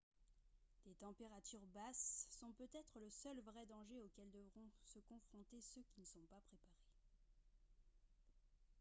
des températures basses sont peut-être le seul vrai danger auquel devront se confronter ceux qui ne sont pas préparés